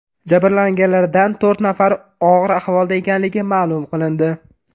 Jabrlanganlardan to‘rt nafari og‘ir ahvolda ekanligi ma’lum qilindi.